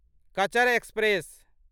Cachar express